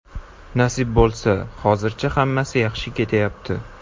Nasib bo‘lsa, hozircha hammasi yaxshi ketyapti.